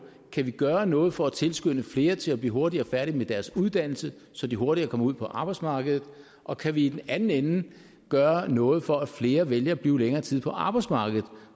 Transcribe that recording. kan gøre noget for at tilskynde flere til at blive hurtigere færdige med deres uddannelse så de hurtigere kommer ud på arbejdsmarkedet og kan vi i den anden ende gøre noget for at flere vælger at blive længere tid på arbejdsmarkedet